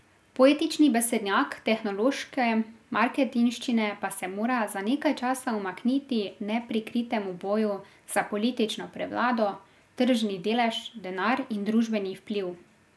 Poetični besednjak tehnološke marketinščine pa se mora za nekaj časa umakniti neprikritemu boju za politično prevlado, tržni delež, denar in družbeni vpliv.